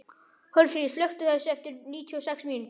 Hjörfríður, slökktu á þessu eftir níutíu og sex mínútur.